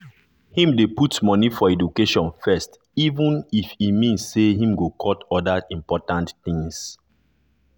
him dey put money for education first even if e mean say him go cut other important things.